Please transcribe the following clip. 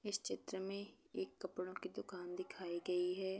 इस चित्र में एक कपड़ों की दुकान दिखाई गई है।